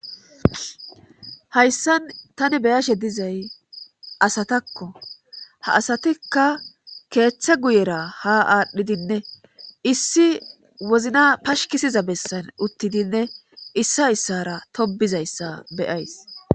Hayssan tani beyashe dizay asatakko ha asatikka keeththe guyera ha aadhdhidinne issi wozna pashkisiza bessan uttidinne issa issara tobizayssa beyays